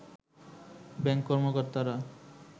bank কর্মকর্তারা